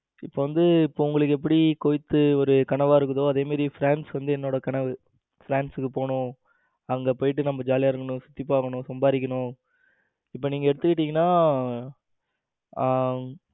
இப்ப வந்து இப்ப உங்களுக்கு எப்படி குவைத் ஒரு கனவா இருக்கோ அது மாதிரி france வந்து என்னோட கனவு. france போகணும் அங்க போயிட்டு நம்ம ஜாலியா இருக்கணும் சுத்தி பாக்கணும் சம்பாதிக்கணும் இப்ப நீங்க எடுத்துக்கிட்டீங்கன்னா ஆ